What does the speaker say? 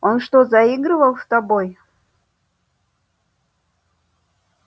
он что заигрывал с тобой